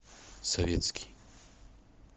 советский